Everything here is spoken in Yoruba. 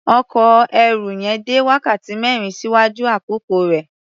Ọkọ̀ ẹrù yẹn dé wákàtí mẹ́rin ṣíwájú àkókò rẹ̀.